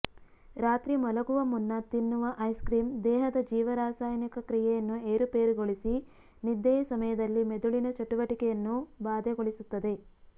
ರಾತ್ರಿ ಮಲಗುವ ಮುನ್ನ ತಿನ್ನುವ ಐಸ್ ಕ್ರೀಮ್ ದೇಹದ ಜೀವರಾಸಾಯನಿಕ ಕ್ರಿಯೆಯನ್ನು ಏರುಪೇರುಗೊಳಿಸಿ ನಿದ್ದೆಯ ಸಮಯದಲ್ಲಿ ಮೆದುಳಿನ ಚಟುವಟಿಕೆಯನ್ನೂ ಬಾಧೆಗೊಳಿಸುತ್ತದೆ